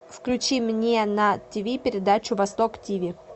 включи мне на тв передачу восток тв